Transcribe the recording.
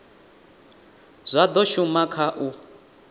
zwa do shuma kha u